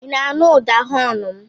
I na-aṅụ ụda họọnụ m?